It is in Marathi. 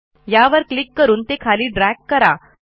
यावर क्लिक करून ते खाली ड्रॅग करा